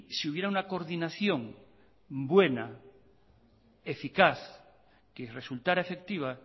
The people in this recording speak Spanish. si hubiera una coordinación buena eficaz que resultara efectiva